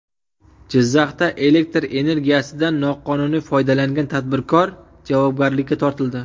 Jizzaxda elektr energiyasidan noqonuniy foydalangan tadbirkor javobgarlikka tortildi.